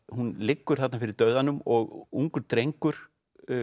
hún liggur þarna fyrir dauðanum og ungur drengur